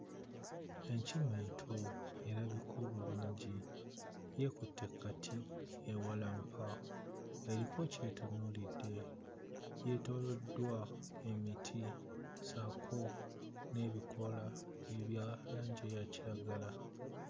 Enkima ento erabika obulungi yeekutte ku kati ewalampa, eriko ky'etunuulidde; yeetooloddwa emiti ssaako n'ebikoola ebya langi eya kiragala.